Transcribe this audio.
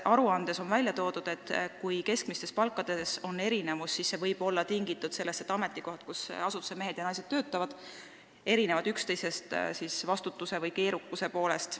Aruandes on välja toodud, et kui keskmistes palkades on erinevus, siis see võib olla tingitud sellest, et ametikohad, kus asutuse mehed ja naised töötavad, erinevad üksteisest vastutuse või keerukuse poolest.